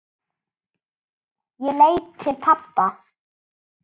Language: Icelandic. Ég leit til pabba.